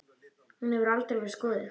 Hún hefur aldrei verið skoðuð.